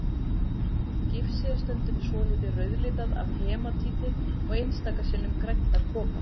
Gifsið er stundum svolítið rauðlitað af hematíti og einstaka sinnum grænt af kopar.